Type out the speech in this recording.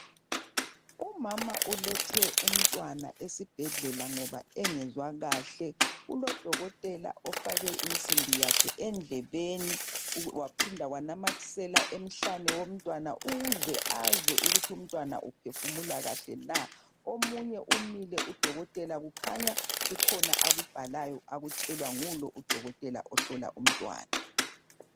Umama ulethe umtwana esibhedlela ngoba engezwa kahle kulodokotela ofake insimbi yakhe endlebeni waphinda wanamathisela emhlane womtwana ukuze azwe ukuthi umtwana uphefumula kahle na omunye umile udokotela ukhanya kukhona akubhalayo okutshelwa ngulo udokotela ohlola umtwana